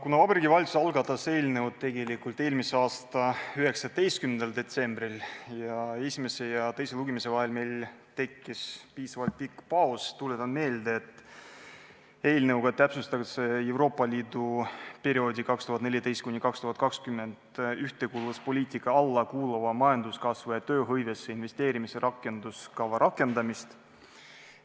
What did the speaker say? Kuna Vabariigi Valitsus algatas eelnõu tegelikult eelmise aasta 19. detsembril ning esimese ja teise lugemise vahel tekkis meil piisavalt pikk paus, tuletan meelde, et eelnõuga täpsustatakse Euroopa Liidu perioodi 2014–2020 ühtekuuluvuspoliitika alla kuuluva majanduskasvu ja tööhõivesse investeerimise rakenduskava rakendamist.